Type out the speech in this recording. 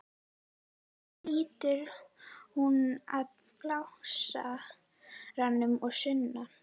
Svo lítur hún á blásarann að sunnan.